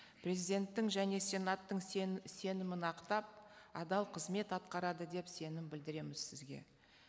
президенттің және сенаттың сенімін ақтап адал қызмет атқарады деп сенім білдіреміз сізге